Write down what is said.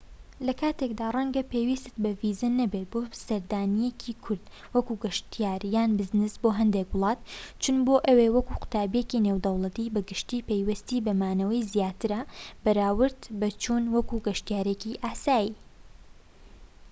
لە کاتێکدا رەنگە پێویستیت بە ڤیزە نەبێت بۆ سەردانیەکی کورت وەک گەشتیار یان بزنس بۆ هەندێک وڵات چوون بۆ ئەوێ وەک قوتابیەکی نێودەوڵەتی بەگشتی پێویستی بە مانەوەی زیاترە بەراورد بە چوون وەک گەشتیارێکی ئاسایی